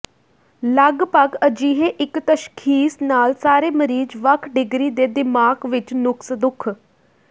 ਲੱਗਭਗ ਅਜਿਹੇ ਇੱਕ ਤਸ਼ਖ਼ੀਸ ਨਾਲ ਸਾਰੇ ਮਰੀਜ਼ ਵੱਖ ਡਿਗਰੀ ਦੇ ਦਿਮਾਗ਼ ਵਿਚ ਨੁਕਸ ਦੁੱਖ